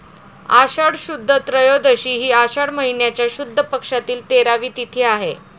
आषाढ शुद्ध त्रयोदशी हि आषाढ महिन्याच्या शुद्ध पक्षातील तेरावी तिथी आहे.